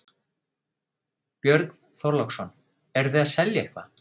Björn Þorláksson: Eruð þið að selja eitthvað?